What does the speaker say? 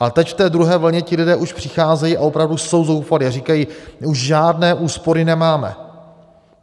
A teď v té druhé vlně ti lidé už přicházejí a opravdu jsou zoufalí a říkají, my už žádné úspory nemáme.